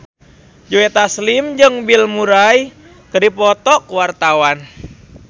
Joe Taslim jeung Bill Murray keur dipoto ku wartawan